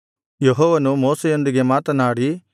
ಯೆಹೋವನು ಮೋಶೆಯೊಂದಿಗೆ ಮಾತನಾಡಿ